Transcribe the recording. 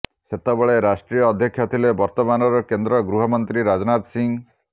ସେତେବେଳେ ରାଷ୍ଟ୍ରୀୟ ଅଧ୍ୟକ୍ଷ ଥିଲେ ବର୍ତ୍ତମାନର କେନ୍ଦ୍ର ଗୃହ ମନ୍ତ୍ରୀ ରାଜନାଥ ସିଂହ